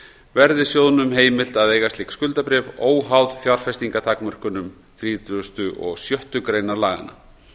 verði sjóðnum heimilt að eiga slík skuldabréf óháð fjárfestingartakmörkunum þrítugustu og sjöttu greinar laganna